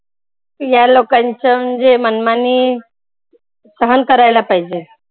या लोकांचं म्हणजे मनमानी सहन करायला पाहिजे.